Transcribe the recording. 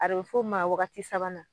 A bɛ f'o ma waagati sabanan.